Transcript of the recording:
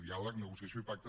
diàleg negociació i pacte